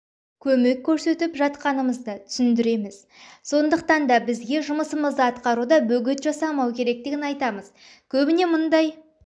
көмек көсетіп жатғанымызды түсіндіреміз сондықтан да бізге жұмысымызды атқаруда бөгет жасамау керектігін айтамыз көбінесе мұндай